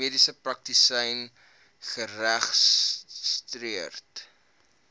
mediese praktisyn geregistreer